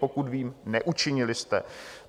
Pokud vím, neučinili jste.